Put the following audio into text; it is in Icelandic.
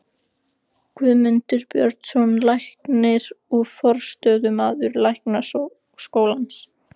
Guðmundur Björnsson, landlæknir og forstöðumaður Læknaskólans.